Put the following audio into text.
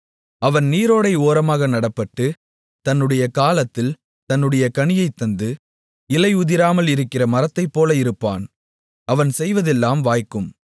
அவன் நீரோடை ஓரமாக நடப்பட்டு தன்னுடைய காலத்தில் தன்னுடைய கனியைத் தந்து இலை உதிராமல் இருக்கிற மரத்தைப்போல இருப்பான் அவன் செய்வதெல்லாம் வாய்க்கும்